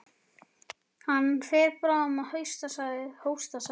Hann fer bráðum að hausta sagði Friðrik.